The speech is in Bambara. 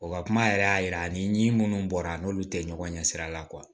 O ka kuma yɛrɛ y'a yira ani ɲin minnu bɔra n'olu tɛ ɲɔgɔn ɲɛ sira la